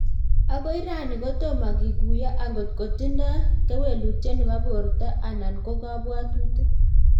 akoi rani kotomo kikuiyongotko tindoi kewelutyet nebo Porto ana ko kabwatutik